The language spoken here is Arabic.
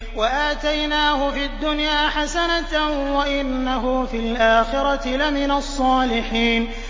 وَآتَيْنَاهُ فِي الدُّنْيَا حَسَنَةً ۖ وَإِنَّهُ فِي الْآخِرَةِ لَمِنَ الصَّالِحِينَ